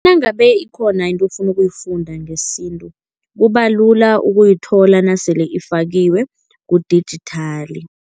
Nangabe ikhona into ofuna ukuyifunda ngesintu, kubalula ukuyithola nasele ifakiwe kudijithali.